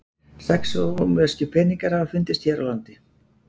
Sex rómverskir peningar hafa fundist hér á landi.